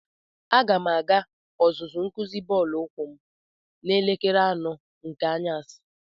Aga m aga ọzụzụ nkuzi bọọlụ ukwu m n'elekere anọ nke anyasi.